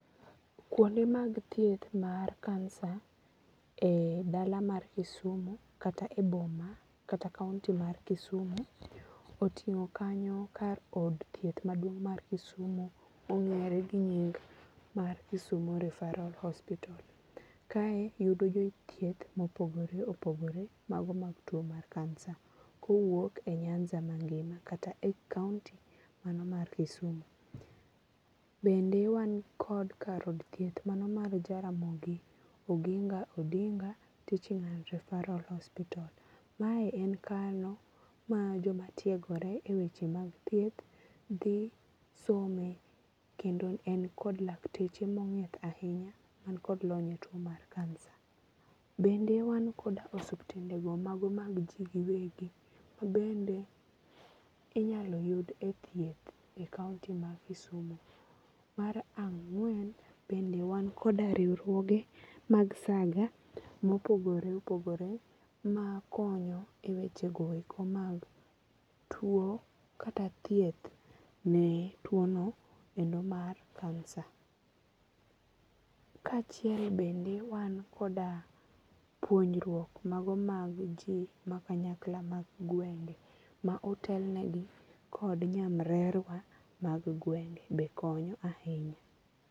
Kuonde mag thieth mar kansa e dala mar Kisumu kata e boma kata kaonti mar Kisumu oting'o kanyo kar od thieth maduong' mar Kisumo mong'ere gi nying mar Kisumu referal hospita. Kae yudo jothieth mopogore opogore mago mag tuo mar kansa kowuok e nyanza mangima kata e kaonti mano mar Kisumu. Bende wan kod kar od thieth mano mar Jaramogi oginga odinga teaching and referal hospital. Mae en kano ma jomatiegore e weche mag thieth dhi some kendo en kod lakteche mong'ith ahinya man kod lony e tuo mar kansa. Bende wan koda osuptandego mag ji giwegi ma bende inyalo yud e thieth e kaonti ma Kisumu. Mar ang'wen bende wan koda riwruoge mag saga mopogore opogore makonyo e wechego eko mag tuo kata thieth ne tuono endo mar kansa. Kaachiel bende wan koda puonjruok mago mag ji makanyakla mag gwenge ma otelnegi kod nyamrerwa mag gwenge be konyo ahinya.